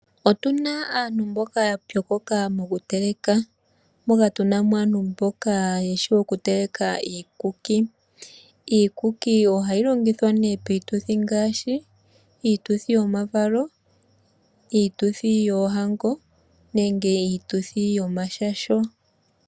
Otu na aantu mboka ya pyokoka mokuteleka. Moka tu na mo aantu mboka yeshi oku teleka iikuki. Iikuki oha yi longithwa nee piituthi ngaashi: iituthi yomavalo, iituthi yoohango nenge iituthi yomashasho.